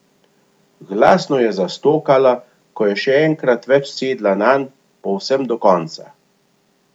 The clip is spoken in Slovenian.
Glasno je zastokala, ko je še enkrat več sedla nanj povsem do konca.